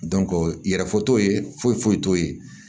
yɛrɛ fɔ t'o ye foyi foyi t'o ye